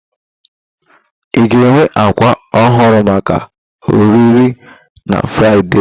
Ị ga-enwe ákwà ọhụrụ maka ọrịre na Fraịde?